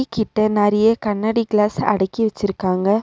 கிட்ட நறைய கண்ணாடி கிளாஸ் அடக்கி வெச்சிருக்காங்க.